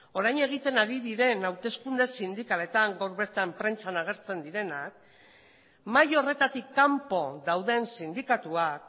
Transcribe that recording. orain egiten ari diren hauteskunde sindikaletan gaur bertan prentsan agertzen direnak mahai horretatik kanpo dauden sindikatuak